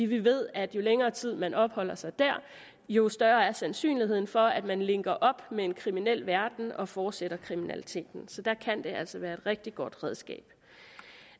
vi ved at jo længere tid man opholder sig der jo større er sandsynligheden for at man linker op med en kriminel verden og fortsætter kriminaliteten så der kan det altså være et rigtig godt redskab